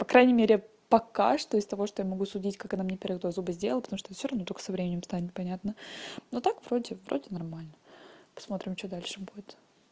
по крайней мере пока что из того что я могу судить как она мне два первых зуба сделала потому что это всё равно только со временем станет понятно но так вроде вроде нормально посмотрим что дальше будет